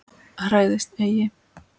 Hræðist eigi!